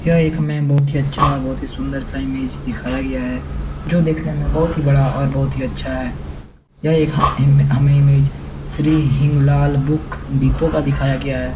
यह एक हमें बहुत ही अच्छा और बहोत ही सुन्दर सा इमेज दिखाया गया है जो दिखने में बहोत ही बड़ा और बहोत ही अच्छा है यह एक हिम हम हमें image Shri Hing Lal book depot का दिखाया गया है।